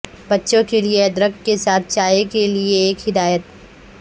بچوں کے لئے ادرک کے ساتھ چائے کے لئے ایک ہدایت